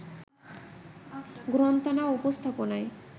গ্রন্থনা ও উপস্থাপনায়